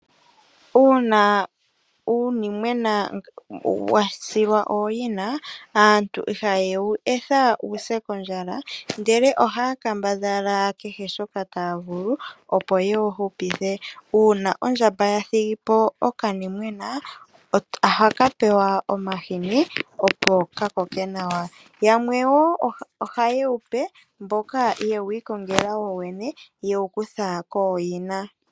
Uuna uunimwena wasilwa ooyina aantu iha yewu etha wuse kondjala, ndele ohaya kambadhala kehe shoka taya vulu opo yewu hupithe. Uuna ondjamba yathigipo okanimwena ohakapewa omahini opo ka koke nawa yamwe woo ohayewupe mboka yewu ikongela wowene ye wukutha kooyina.